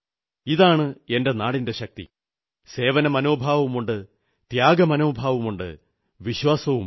ഇതാണ് എന്റെ നാടിന്റെ ശക്തി സേവന മനോഭാവവുമുണ്ട് ത്യാഗമനോഭാവവുമുണ്ട് വിശ്വാസവുമുണ്ട്